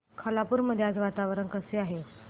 खालापूर मध्ये आज वातावरण कसे आहे